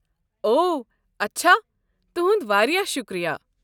او، اچھا۔ تُہُنٛد واریاہ شُکریہ۔